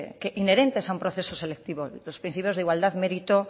inherentes a un proceso selectivo los principios de igualdad mérito